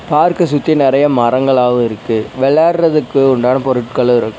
பார்க்க சுத்தி நறைய மரங்களாவு இருக்கு வெளாட்றதுக்கு உண்டான பொருட்களு இருக்--